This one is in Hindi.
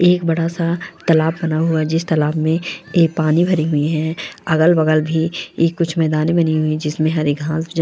एक बड़ा सा तालाब बना हुआ है जिस तालाब में एक पानी भरी हुई है अगल-बगल भी ये कुछ मैदान बनी हुई है जिसमें हरे घास जमे --